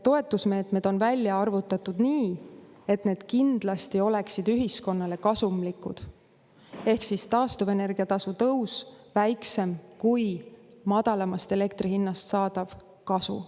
Toetusmeetmed on välja arvutatud nii, et need kindlasti oleksid ühiskonnale kasumlikud, ehk siis taastuvenergia tasu tõus oleks väiksem kui madalamast elektri hinnast saadav kasu.